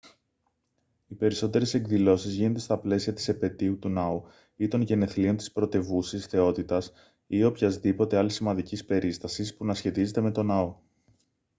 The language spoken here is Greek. οι περισσότερες εκδηλώσεις γίνονται στα πλαίσια της επετείου του ναού ή των γενεθλίων της πρωτευούσης θεότητας ή οποιασδήποτε άλλης σημαντικής περίστασης που να σχετίζεται με το ναό